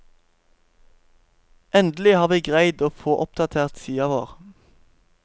Endelig har vi greid å få oppdatert sida vår.